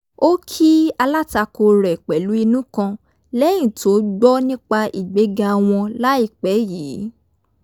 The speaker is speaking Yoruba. ó kí alátakò rẹ̀ pẹ̀lú inú kan lẹ́yìn tó gbọ́ nípa ìgbéga wọn láìpẹ́ yìí